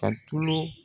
Ka tulu